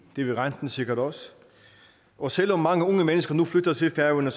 det vil renten sikkert også og selv om mange unge mennesker nu flytter til færøerne